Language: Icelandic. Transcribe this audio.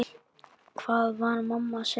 Hvað var mamma að segja?